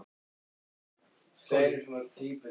Og þar með var hann í rauninni fallinn.